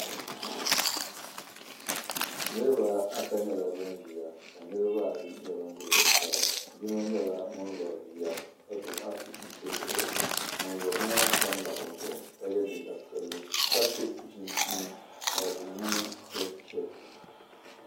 Niraba ata nyɛla bin ʒiya ka niraba ayi ʒɛ zuɣusaa yino nyɛla ŋun lori bia ka gbubi afi n chirigiri o zuɣu ŋun lori maa pamla o zuɣu ka yɛ liiga piɛlli ka so chinchini ka di niŋ chɛkchɛk